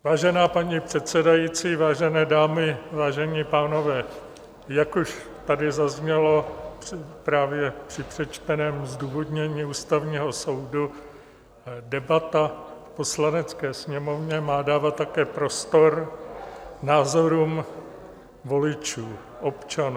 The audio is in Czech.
Vážená paní předsedající, vážené dámy, vážení pánové, jak už tady zaznělo právě při přečteném zdůvodnění Ústavního soudu, debata v Poslanecké sněmovně má dávat také prostor názorům voličů, občanů.